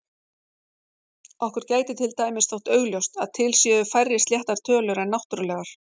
Okkur gæti til dæmis þótt augljóst að til séu færri sléttar tölur en náttúrlegar.